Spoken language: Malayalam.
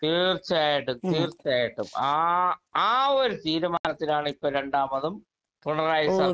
സ്പീക്കർ 2 തീർച്ചയായിട്ടും തീർച്ചയായിട്ടും ആ ആ ഒരു തീരുമാനത്തിലാണ് ഇപ്പൊ രണ്ടാമതും പിണറായി സർക്കാർ കേറിയത്